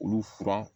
Olu fura